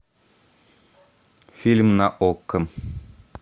фильм на окко